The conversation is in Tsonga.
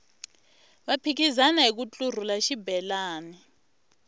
va phikizana hiku ntlurhula xibelani